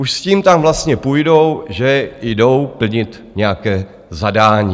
Už s tím tam vlastně půjdou, že jdou plnit nějaké zadání.